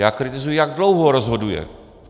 Já kritizuji, jak dlouho rozhoduje.